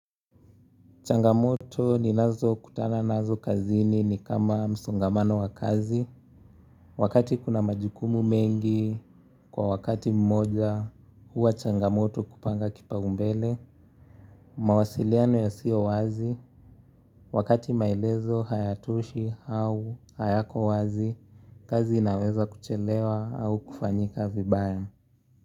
Changamoto ninazokutana nazo kazini ni kama msongamano wa kazi. Wakati kuna majukumu mengi, kwa wakati mmoja, huwa changamoto kupanga kipaumbele. Mawasiliano yasiyo wazi, wakati maelezo, hayatoshi au hayako wazi, kazi inaweza kuchelewa au kufanyika vibaya.